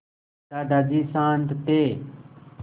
दादाजी शान्त थे